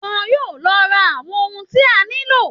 Wọn yóò lọ ra àwọn ohun tí a nílò